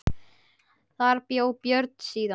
Þar bjó Björn síðan.